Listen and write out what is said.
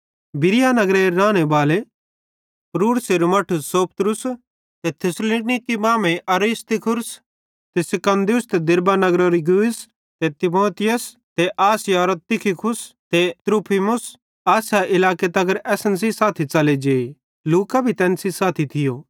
बिरीया नगरेरे रानेबाले पुरूर्सेरू मट्ठू सोपत्रुस ते थिस्सलुनीकि मांमेइं अरिस्तर्खुस ते सिकुन्दुस ते दिरबे नगरेरो गयुस ते तीमुथियुस ते आसियारो तुखिकुस ते त्रुफिमुस आसिया इलाके तगर असन सेइं साथी च़ले जे लूका भी तैन सेइं साथी थियो